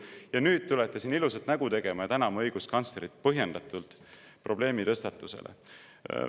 Ja nüüd tulete siin ilusat nägu tegema ja tänama õiguskantslerit põhjendatult probleemi tõstatamise eest.